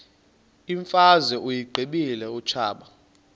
imfazwe uyiqibile utshaba